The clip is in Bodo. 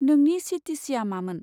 नोंनि चि.टि चि.आ मामोन?